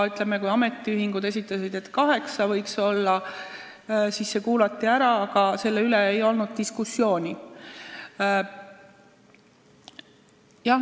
Kui ametiühingud esitasid ettepaneku, et liikmeid võiks olla kaheksa, siis see kuulati ära, aga diskussiooni ei olnud.